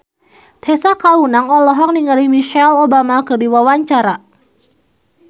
Tessa Kaunang olohok ningali Michelle Obama keur diwawancara